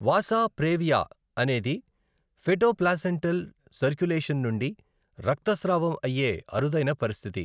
వాసా previa అనేది fetoplacental circulation నుండి రక్తస్రావం అయ్యే అరుదైన పరిస్థితి.